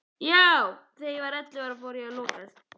Þegar ég var ellefu ára fór ég að lokast.